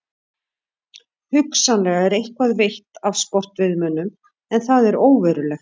Hugsanlega er eitthvað veitt af sportveiðimönnum en það er óverulegt.